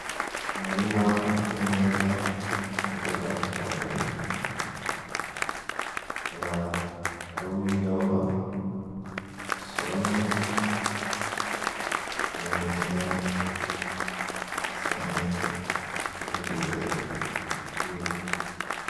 Umurima uteye neza muburyo bwa kijambere, ukaba aruwibiyoba usoromye. Bikaba bimeze neza, bisa neza. Bikaba bigeze kuribwa.